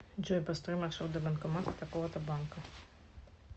джой построй маршрут до банкомата такого то банка